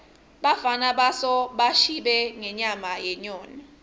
bafana bosa bashibe ngenyama yenyoni